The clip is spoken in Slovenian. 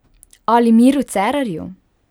Ali Miru Cerarju?